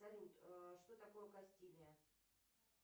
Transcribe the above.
салют что такое кастилия